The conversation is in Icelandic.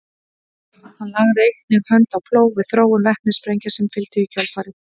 hann lagði einnig hönd á plóg við þróun vetnissprengja sem fylgdu í kjölfarið